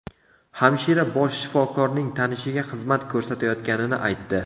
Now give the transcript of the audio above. Hamshira bosh shifokorning tanishiga xizmat ko‘rsatayotganini aytdi.